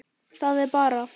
Það er bara.